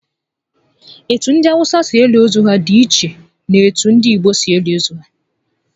Etu ndi Awụsa si eli ozu dị iche na etu ndị Igbo si eli nke ha